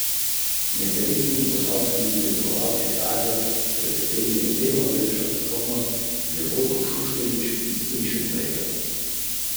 Takoj po dvoboju pa so se že začela ugibanja, kdo bo postal glava družine.